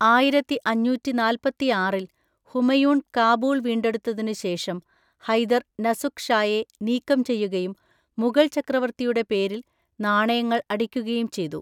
ആയിരത്തിഅഞ്ഞുറ്റിനാല്പത്തിആറിൽ ഹുമയൂൺ കാബൂൾ വീണ്ടെടുത്തതിനുശേഷം, ഹൈദർ നസുക്ക് ഷായെ നീക്കം ചെയ്യുകയും മുഗൾ ചക്രവർത്തിയുടെ പേരിൽ നാണയങ്ങൾ അടിക്കുകയും ചെയ്തു.